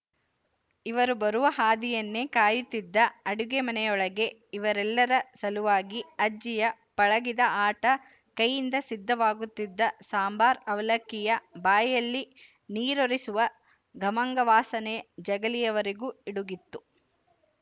ಇವರು ಬರುವ ಹಾದಿಯನ್ನೇ ಕಾಯುತ್ತಿದ್ದ ಅಡುಗೆಮನೆಯೊಳಗೆ ಇವರೆಲ್ಲರ ಸಲುವಾಗಿ ಅಜ್ಜಿಯ ಪಳಗಿದ ಆಟ ಕೈಯಿಂದ ಸಿದ್ಧವಾಗುತ್ತಿದ್ದ ಸಾಂಬಾರ ಅವಲಕ್ಕಿಯ ಬಾಯಲ್ಲಿ ನಿರೂರಿಸುವ ಖಮಂಗವಾಸನೆ ಜಗಲಿಯ ವರೆಗೂ ಇಡುಗಿತ್ತು